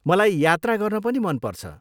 मलाई यात्रा गर्न पनि मन पर्छ।